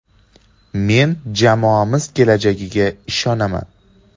Men jamoamiz kelajagiga ishonaman”.